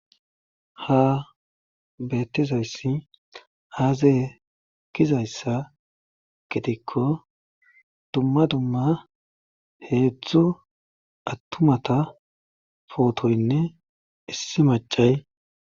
Ha bettizayssi haazae kizayssa gitikko dumma dumma heedzdzu attumata pootoynne issi macay